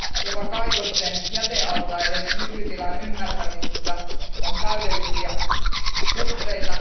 Jopa kaivosten jätealtaiden nykytilan ymmärtämisessä on täydellisiä puutteita.